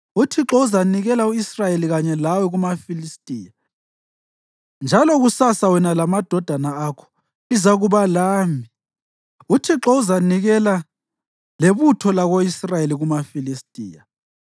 Uthixo uzanikela u-Israyeli kanye lawe kumaFilistiya, njalo kusasa wena lamadodana akho lizakuba lami. Uthixo uzanikela lebutho lako-Israyeli kumaFilistiya.”